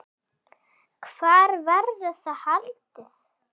Hvar verður það haldið?